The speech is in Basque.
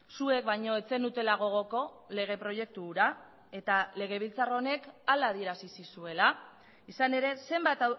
zuek baino ez zenutela gogoko lege proiektu hura eta legebiltzar honek hala adierazi zizuela izan ere zenbat